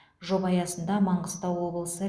жоба аясында маңғыстау облысы